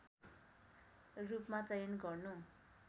रूपमा चयन गर्नु